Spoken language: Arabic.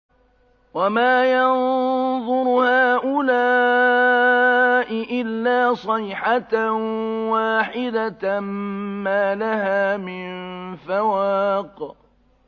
وَمَا يَنظُرُ هَٰؤُلَاءِ إِلَّا صَيْحَةً وَاحِدَةً مَّا لَهَا مِن فَوَاقٍ